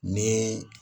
Ni